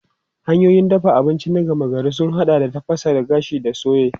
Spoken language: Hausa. Hanyoyin dafa abinci na gama gari sun haɗa da tafasa, gashi da soye.